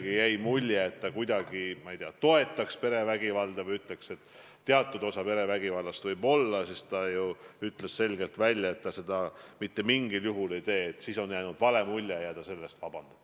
Ma nüüd konkreetset tsitaati teile ei too – siis te vahest ütleksite, et ma valetan –, aga minu meelest tema sõnade mõte oli see, et tema lausest on jäänud vale mulje ja ta selle eest palub vabandust.